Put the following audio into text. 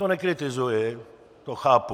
To nekritizuji, to chápu.